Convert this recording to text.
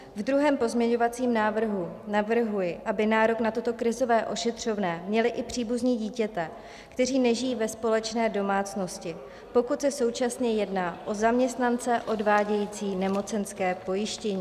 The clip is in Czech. V druhém pozměňovacím návrhu navrhuji, aby nárok na toto krizové ošetřovné měli i příbuzní dítěte, kteří nežijí ve společné domácnosti, pokud se současně jedná o zaměstnance odvádějící nemocenské pojištění.